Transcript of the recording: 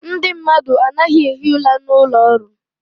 Ndị mmadụ anaghị ehi ụra n'ụlọ ọrụ.